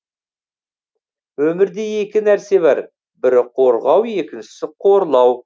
өмірде екі нәрсе бар бірі қорғау екіншісі қорлау